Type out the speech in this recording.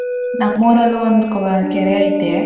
ನಮ್ ಊರಲ್ಲೂ ಒಂದ್ ಕೋ~ ಕೆರೆ ಐತೆ.